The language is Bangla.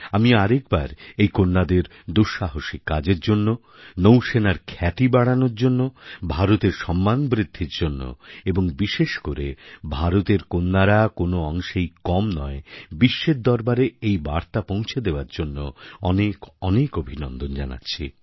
আমি আরেকবার এই কন্যাদের দুঃসাহসিক কাজের জন্য নৌসেনার খ্যাতি বাড়ানোর জন্য ভারতের সম্মান বৃদ্ধির জন্য এবং বিশেষ করে ভারতের কন্যারা কোনও অংশেই কম নয় বিশ্বের দরবারে এই বার্তা পৌঁছে দেওয়ার জন্য অনেক অনেক অভিনন্দন জানাচ্ছি